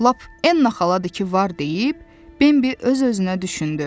Lap Ennə xaladı ki var deyib, Bembi öz-özünə düşündü.